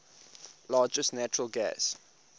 largest natural gas